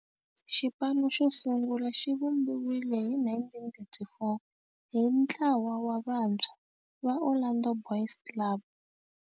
Xipano xo sungula xivumbiwile hi 1934 hi ntlawa wa vantshwa va Orlando Boys Club.